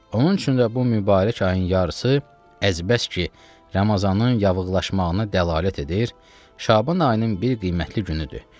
Onun üçün də bu mübarək ayın yarısı əzbəs ki, Ramazanın yaxınlaşmağına dəlalət edir, Şaban ayının bir qiymətli günüdür.